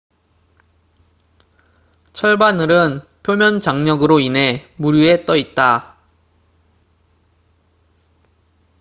철바늘은 표면 장력으로 인해 물 위에 떠 있다